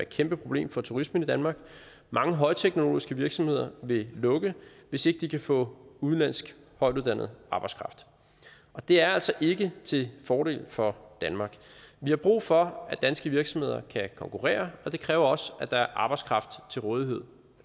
kæmpe problem for turismen i danmark mange højteknologiske virksomheder vil lukke hvis ikke de kan få udenlandsk højtuddannet arbejdskraft og det er altså ikke til fordel for danmark vi har brug for at danske virksomheder kan konkurrere og det kræver også at der er arbejdskraft til rådighed